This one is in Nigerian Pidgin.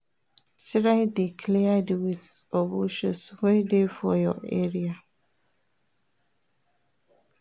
Try de clear di weeds or bushes wey de for your area